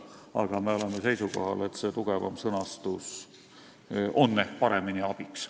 Aga me oleme seisukohal, et tugevam sõnastus on ehk paremini abiks.